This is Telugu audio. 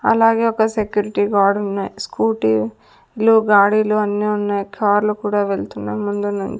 అలాగే ఒక సెక్యూరిటీ గార్డ్ ఉన్నాయి స్కూటీ లో గాడీలు అన్నీ ఉన్నాయి కార్లు కూడా వెళ్తున్నాం ముందున.